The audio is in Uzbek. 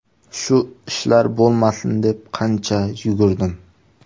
Shu ishlar bo‘lmasin deb qancha yugurdim.